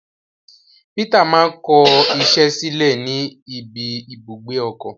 Peter ma kọ iṣẹ sílẹ ní ibi ibùgbé ọkọ.